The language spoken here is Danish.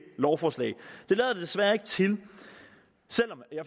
lovforslag det lader desværre ikke til